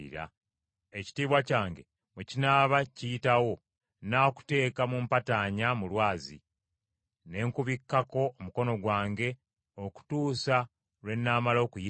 Ekitiibwa kyange bwe kinaaba kiyitawo, nnaakuteeka mu mpataanya mu lwazi, ne nkubikkako omukono gwange okutuusa lwe nnaamala okuyitawo.